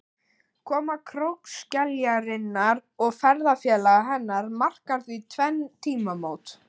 Koma krókskeljarinnar og ferðafélaga hennar markar því tvenn tímamót.